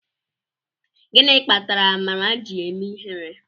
Gịnị kpatara amara ji eme ihere?